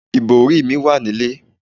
Ìbòrí mi wà nílé.